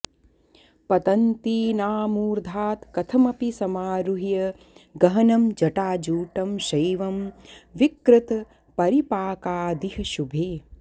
पतन्तीनामूर्धात् कथमपि समारुह्य गहनं जटाजूटं शैवं विकृतपरिपाकादिह शुभे